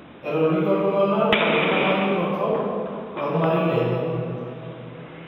Etolikio iltung'ana olkitamanyunoto lolmarei lenye